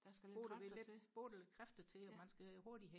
der skal lidt kræfter til